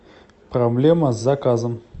проблема с заказом